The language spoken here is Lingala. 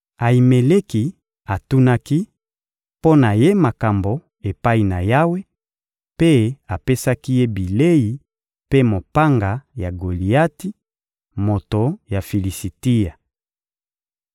Ayimeleki atunaki mpo na ye makambo epai na Yawe, mpe apesaki ye bilei mpe mopanga ya Goliati, moto ya Filisitia.»